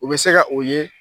U bɛ se ka o ye